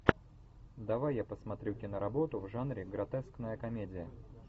давай я посмотрю киноработу в жанре гротескная комедия